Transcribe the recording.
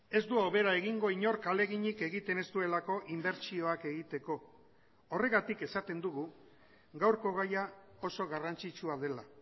ez du hobera egingo inork ahaleginik egiten ez duelako inbertsioak egiteko horregatik esaten dugu gaurko gaia oso garrantzitsua dela